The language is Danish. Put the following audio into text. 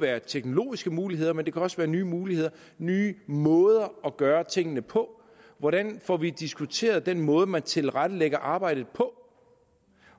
være teknologiske muligheder men det kan også være nye muligheder nye måder at gøre tingene på hvordan får vi diskuteret den måde man tilrettelægger arbejdet på